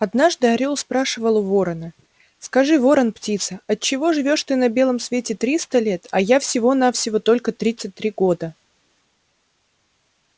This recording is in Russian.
однажды орёл спрашивал у ворона скажи ворон-птица отчего живёшь ты на белом свете триста лет а я всего на всего только тридцать три года